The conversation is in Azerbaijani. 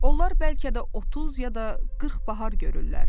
Onlar bəlkə də 30 ya da 40 bahar görürlər.